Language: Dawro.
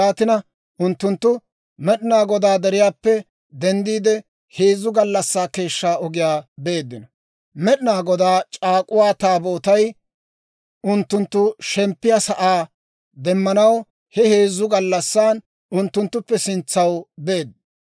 Yaatina unttunttu Med'inaa Godaa deriyaappe denddiide, heezzu gallassaa keeshshaa ogiyaa beeddino. Med'inaa Godaa C'aak'uwaa Taabootay unttunttu shemppiyaa sa'aa demmanaw he heezzu gallassan unttunttuppe sintsaw beedda.